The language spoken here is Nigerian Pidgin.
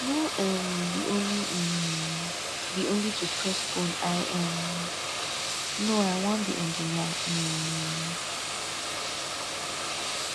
no um be only um be only to press phone i um no i wan be engineer um